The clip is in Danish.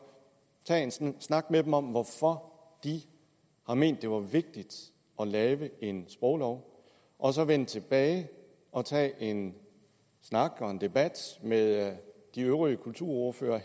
tage en snak med dem om hvorfor de har ment det var vigtigt at lave en sproglov og så vende tilbage og tage en snak og en debat med de øvrige kulturordførere